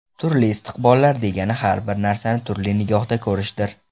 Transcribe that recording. Turli istiqbollar degani har bir narsani turli nigohda ko‘rishdir.